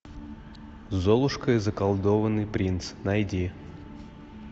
золушка и заколдованный принц найди